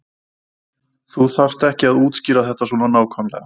Þú þarft ekki að útskýra þetta svona nákvæmlega.